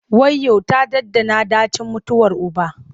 Wayyo! ta ɗanɗana ɗacin mutuwar uba.